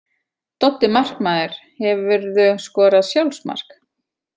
Doddi markmaður Hefurðu skorað sjálfsmark?